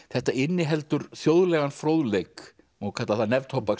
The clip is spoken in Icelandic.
þetta inniheldur þjóðlegan fróðleik má kalla það